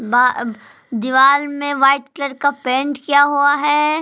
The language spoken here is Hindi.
बा अब दीवाल में वाइट कलर का पेंट किया हुआ है।